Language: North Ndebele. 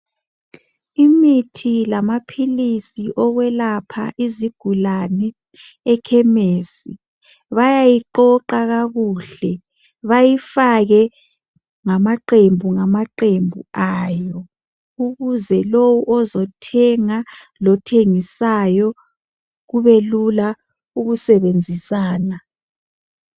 imithi lamaphilisi okwelapha izigulane ekhemesi bayayiqoqa kakuhle bayifake ngamaqembu ngamaqembu ayo ukuze lowu ozothenga lothengisayo kubelula ukusebenzisana